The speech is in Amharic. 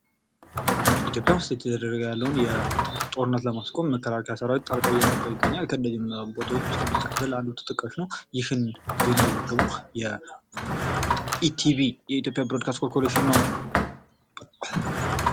ኢትዮጵያ ዉስጥ እየተደረገ ያለውን ጦርነት ለማስቆም መከላከያ ሰራዊት ጣልቃ እየገባ ይገኛል ከነዚህም ቦታዎች ዉስጥ የአማራ ክልል አንዱ ተጠቃሽ ነው። ይህንን ዜና የዘገበው የኢቲቪ የኢትዮጵያ ብሮድካስት ኮርፖሬሽን ነው።